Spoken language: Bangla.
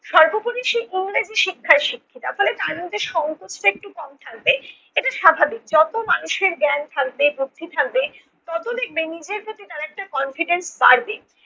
সর্বোপরি সে ইংরেজি শিক্ষায় শিক্ষিতা, ফলে তার মধ্যে সংকোচটা একটু কম থাকবে, এটা স্বাভাবিক। যত মানুষের জ্ঞান থাকবে বুদ্ধি থাকবে তত দেখবে নিজের প্রতি একটা confidence বাড়বে।